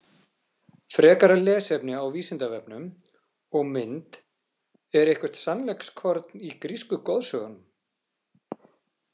Frekara lesefni á Vísindavefnum og mynd Er eitthvert sannleikskorn í grísku goðsögunum?